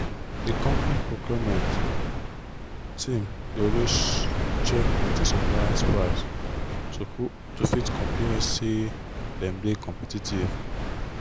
the company procurement team dey always check plenty suppliers prices to fit compare say them dey competitive.